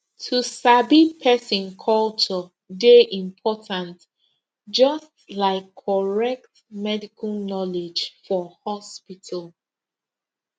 to sabi person culture dey important just like correct medical knowledge for hospital